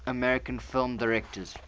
american film directors